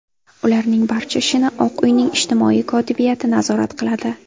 Ularning barcha ishini Oq uyning ijtimoiy kotibiyati nazorat qiladi.